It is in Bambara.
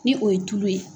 Ni o ye tulu ye